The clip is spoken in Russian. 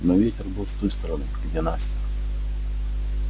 но ветер был с той стороны где настя